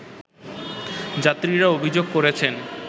যাত্রীরা অভিযোগ করেছেন